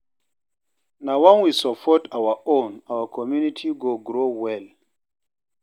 Na wen we support our own, our community go grow well.